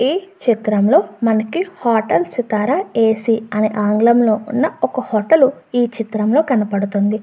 ఈ చిత్రం లో మనకి హోటల్ సితార ఏ.సి. అని ఆంగ్లం లో ఉన్న ఒక హోటల్ ఈ చిత్రం లో కనబడతుంది.